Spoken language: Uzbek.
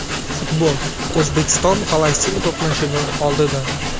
Futbol: O‘zbekiston Falastin to‘qnashuvi oldidan.